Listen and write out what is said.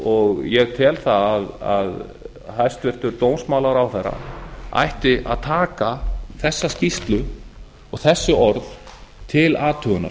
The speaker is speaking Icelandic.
og ég tel að hæstvirtur dómsmálaráðherra ætti að taka þessa skýrslu og þessi orð til athugunar